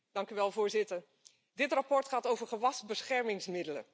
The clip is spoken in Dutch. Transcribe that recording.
Voorzitter, dit verslag gaat over gewasbeschermingsmiddelen.